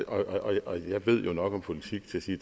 og jeg ved nok om politik til at sige